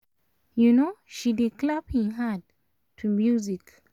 um she dey clap hin hand to music